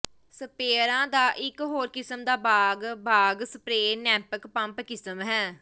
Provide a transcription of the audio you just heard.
ਸਪਰੇਅਰਾਂ ਦਾ ਇਕ ਹੋਰ ਕਿਸਮ ਦਾ ਬਾਗ ਬਾਗ਼ ਸਪਰੇਅ ਨੈਂਪਕ ਪੰਪ ਕਿਸਮ ਹੈ